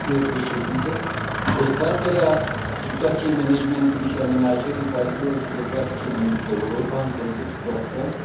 Dezbaterea situației managementului și amenajării bazinelor hidrografice din Europa în contextul actual este binevenită.